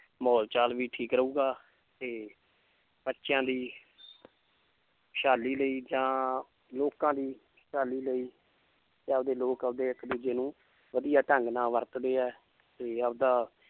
ਮਾਹੌਲ ਚਾਲ ਵੀ ਠੀਕ ਰਹੇਗਾ ਤੇ ਬੱਚਿਆਂ ਦੀ ਖ਼ੁਸ਼ਹਾਲੀ ਲਈ ਜਾਂ ਲੋਕਾਂ ਦੀ ਖ਼ੁਸ਼ਹਾਲੀ ਲਈ ਤੇ ਆਪਦੇ ਲੋਕ ਆਪਦੇ ਇੱਕ ਦੂਜੇ ਨੂੰ ਵਧੀਆ ਢੰਗ ਨਾਲ ਵਰਤਦੇ ਹੈ ਤੇ ਆਪਦਾ